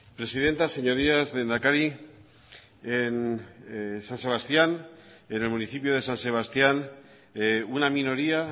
presidenta señorías lehendakari en san sebastián en el municipio de san sebastián una minoría